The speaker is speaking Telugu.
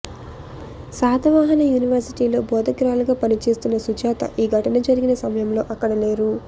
శాతవాహనా యూనివర్శిటీలో బోధకురాలిగా పనిచేస్తున్న సుజాత ఈ ఘటన జరిగిన సమయంలో అక్కడ లేరు